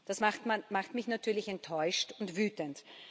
Das macht mich natürlich enttäuscht und wütend.